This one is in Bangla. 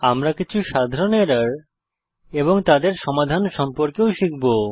আমরা কিছু সাধারণ এরর এবং তাদের সমাধান সম্পর্কেও শিখব